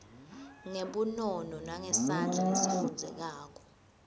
ngebunono nangesandla lesifundzekako